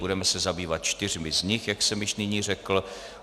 Budeme se zabývat čtyřmi z nich, jak jsem již nyní řekl.